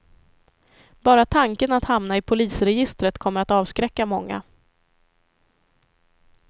Bara tanken att hamna i polisregistret kommer att avskräcka många.